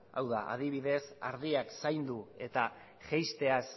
hau da adibidez ardiak zaindu eta jaisteaz